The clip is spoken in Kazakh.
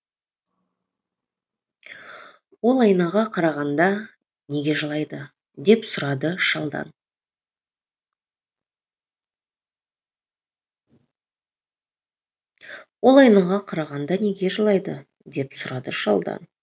ол айнаға қарағанда неге жылайды деп сұрады шалдан